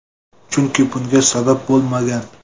Chunki bunga sabab bo‘lmagan.